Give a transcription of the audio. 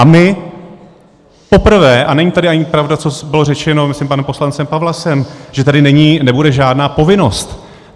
A my poprvé - a není tady ani pravda, co bylo řečeno, myslím, panem poslancem Pawlasem, že tady není, nebude žádná povinnost.